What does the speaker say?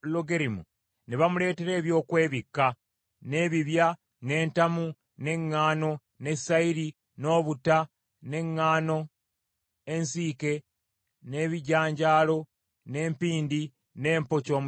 ne bamuleetera ebyokwebikka, n’ebibya, n’entamu, n’eŋŋaano, ne sayiri, n’obutta, n’eŋŋaano ensiike, n’ebijanjaalo, n’empindi, ne mpokya omusiike,